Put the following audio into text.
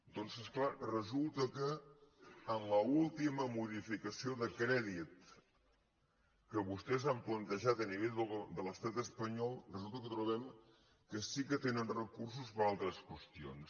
doncs és clar resulta que en l’última modificació de crèdit que vostès han plantejat a nivell de l’estat espa·nyol resulta que trobem que sí que tenen recursos per a altres qüestions